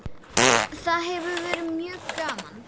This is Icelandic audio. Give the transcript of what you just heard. Það hefur verið mjög gaman.